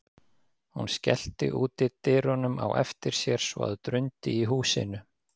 Hún skellti útidyrunum á eftir sér svo að drundi í húsinu.